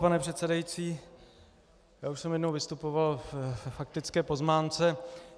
Pane předsedající, já už jsem jednou vystupoval k faktické poznámce.